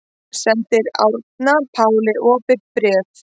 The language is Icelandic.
Sendir Árna Páli opið bréf